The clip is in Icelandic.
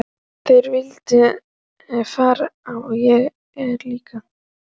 Þeir vildu verða frægir og ég líka.